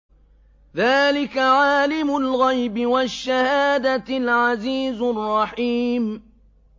ذَٰلِكَ عَالِمُ الْغَيْبِ وَالشَّهَادَةِ الْعَزِيزُ الرَّحِيمُ